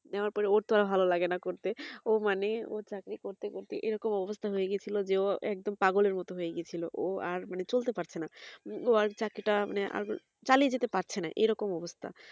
নেওয়ার পর ওর তো আর ভালো লাগেনা করতে ও মানে ও চাকরি করতে করতে এই রকম অবস্থা হয়ে গিয়েছিলো যে ও একদম পাগলের মতো হয়েগিয়েছিল ও আর মানে চলতে পারছেনা ও আর চাকরিটা মানে চালিয়ে যেতে পারছেনা এইরকম অবস্থা